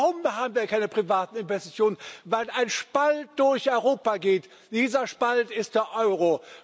Warum haben wir keine privaten Investitionen? Weil ein Spalt durch Europa geht und dieser Spalt ist der Euro.